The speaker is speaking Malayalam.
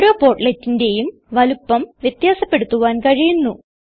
ഓരോ portletന്റേയും വലുപ്പം വ്യത്യാസപ്പെടുത്തുവാൻ കഴിയുന്നു